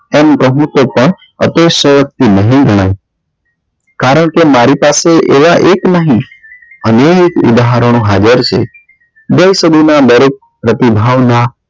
એમ પ્રભુ તે પણ કારણ કે મારી પાસે એવા એક નહી અનેક ઉદાહરણો હાજર છે દેશ ના દરેક પ્રતિભા ઓ ના